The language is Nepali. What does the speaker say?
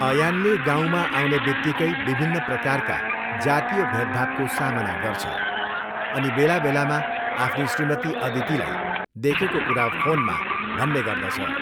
अयानले गाउँमा आउनेबित्तिकै विभिन्न प्रकारका जातीय भेदभावको सामना गर्छ अनि बेलाबेलामा आफ्नी श्रीमती अदितिलाई देखेको कुरा फोनमा भन्ने गर्दछ।